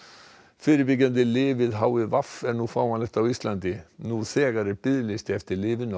fyrirbyggjandi lyf við h i v er nú fáanlegt á Íslandi nú þegar er biðlisti eftir lyfinu á